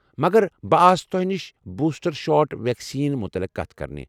مگر بہٕ آس تۄہہ نش بوسٹر شاٹ ویکسیٖنس متعلق کتھ کرنہِ۔